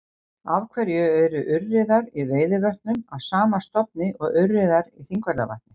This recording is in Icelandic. Af hverju eru urriðar í Veiðivötnum af sama stofni og urriðar í Þingvallavatni?